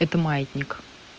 это маятник